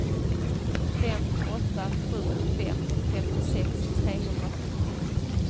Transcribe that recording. fem åtta sju fem femtiosex trehundrasjuttio